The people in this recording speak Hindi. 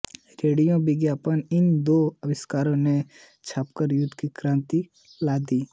रेडियो और विमान इन दो आविष्कारों ने छापामार युद्ध में क्रांति ला दी